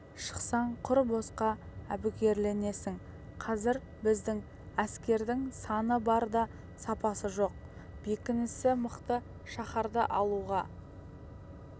шықсаң құр босқа әбігерленесің қазір біздің әскердің саны бар да сапасы жоқ бекінісі мықты шаһарды алуға